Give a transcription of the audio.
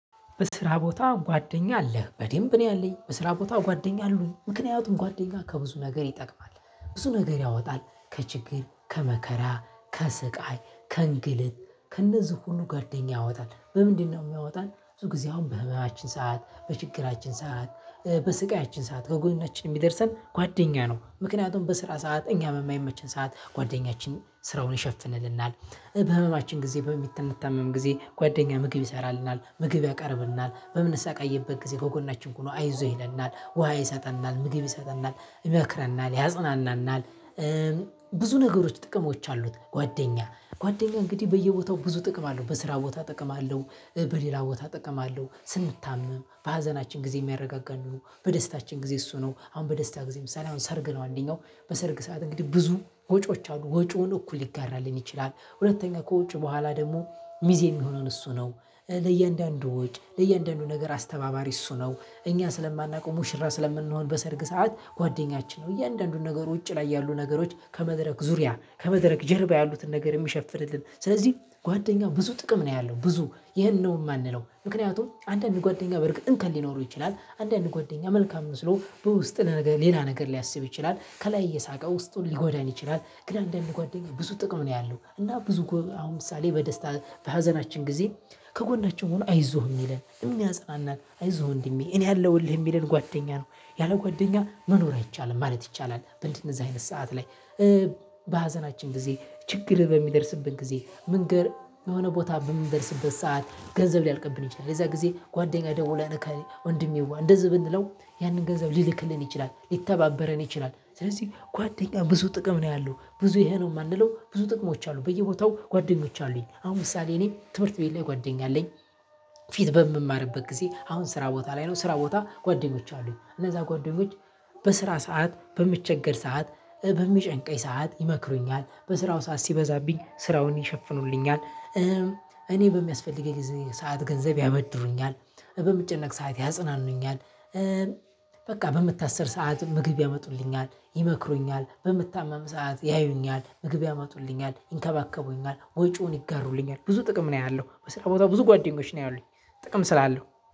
በስራ ቦታ ጓደኛ አለህ? በደንብ ነው ያለኝ በስራ ቦታ ጓደኛ አሉኝ። ምክንያቱም ጓደኛ ከብዙ ነገር ይጠቅማል ብዙ ነገር ያወጣል ከችግር ከመከራ ከስቃይ ከእንግልት ከእነዚህ ሁሉ ጓደኛ ያወጣል። በምንድነው የሚያወጣን? ብዙ ጊዜ አሁን በህመማችን ሰዓት በችግራችን ሰዓት በስቃያችን ሰዓት ከጎናችን የሚደርሰን ጓደኛ ነው። ምክንያቱም በስራ ሰዓተ እኛ በማይመችን ሰዓት ጓደኛችን ስራውን ይሸፍንልናል። በህመማችን ጊዜ በምንታመም ጊዜ ጓደኛ ምግብ ይሰራልናል ምግብ ያቀርብልናል በምንሰቃይበት ጊዜ ከጎናችን ሆኖ አይዞ ይለናል ውሃ ይሰጠናል ምግብ ይሰጠናል ይመክረናል ያጽናናናል። ብዙ ነገሮች ጥቅሞች አሉት። ጓደኛ ጓደኛ እንግዲህ በየቦታው ብዙ ጥቅም አለው። በስራ ቦታ ጥቅም አለው። በሌላ ቦታ ጥቅም አለው ስንታመም በሀዘናችን ጊዜ የሚያረጋጋ ነው። በደስታችን ጊዜ እሱ ነው አሁን በደስታ ጊዜ ምሳሌ አሁን ሰርግ ነው አንደኛው በሰርግ ሰዓት እንግዲህ ብዙ ወጪዎች አሉ ወጪውን እኩል ሊጋራልን ይችላል። ሁለተኛ ከወጭ በኋላ ደግሞ ሚዜ የሚሆነን እሱ ነው። ለእያንዳንዱ ወጪ ለእያንዳንዱ ነገር አስተናባሪ እሱ ነው። እኛ ስለማናውቀው ሙሽራ ስለምንሆን በሰርግ ሰዓት ጓደኛችን ነው። እያንዳንዱን ነገር ውጪ ላይ ያሉ ነገሮች ከመድረክ ዙሪያ ከመድረክ ጀርባ ያሉትን ነገር የሚሸፍንልን ስለዚህ ጓደኛ ብዙ ጥቅም ነው ያለው። ብዙ ይሄ ነው የማንለው ምክንያቱም አንዳንድ ጓደኛ በርግጥ እንከን ሊኖሩ ይችላል። አንዳንድ ጓደኛ መልካም መስሎ በውስጥ ሌላ ነገር ሊያስብ ይችላል ከላይ እየሳቀ ውስጡን ሊጎዳን ይችላል። ግን አንዳንድ ጓደኛ ብዙ ጥቅም ነው ያለው። እና ብዙ አሁን ምሳሌ በደስታ በሀዘናችን ጊዜ ከጎናችን ሆኖ አይዞህ የሚለን የሚያጽናናን አይዞህ ወንድሜ እኔ አለውልህ የሚለን ጓደኛ ነው። ያለ ጓደኛ መኖር አይቻልም ማለት ይቻላል። በእንደዚህ አይነት ሰዓት ላይ በሀዘናችን ጊዜ ችግር በሚደርስብን ጊዜ ምንገር የሆነ ቦታ በምንደርስበት ሰዓት ገንዘብ ሊያልቅብን ይችላል። የዛ ጊዜ ጓደኛ ደውለ እከሌ ወንድሜዋ እንደዚህ ብንለው ያንን ገንዘብ ሊልክልን ይችላል ሊተባበረን ይችላል። ስለዚህ ጓደኛ ብዙ ጥቅም ነው ያለው ብዙ ይሄ ነው የማንለው ብዙ ጥቅሞች አሉ። በየቦታው ጓደኞች አሉኝ አሁን ምሳሌ እኔ ትምህርት ቤት ላይ ጓደኛ አለኝ። ፊት በምማርበት ጊዜ አሁን ስራ ቦታ ላይ ነው ስራ ቦታ ጓደኞች አሉኝ። እነዛ ጓደኞች በስራ ሰዓት በምቸገር ሰዓት በሚጨንቀኝ ሰዓት ይመክሩኛል በስራው ሰዓት ሲበዛብኝ ስራውን ይሸፍኑልኛል። እኔ በሚያስፈልገኝ ሰዓት ገንዘብ ያበድሩኛል። በምጨነቅ ሰዓት ያጽናኑኛል። በቃ በምታሠር ሰዓትም ምግብ ያመጡልኛል ይመክሩኛል በምታማም ሰዓት ያዩኛል ምግብ ያመጡልኛል ይንከባከቡኛል ወጪውን ይጋሩልኛል ብዙ ጥቅም ነው ያለው። በስራ ቦታ ብዙ ጓደኞች ነው ያሉኝ። ጥቅም ስላለው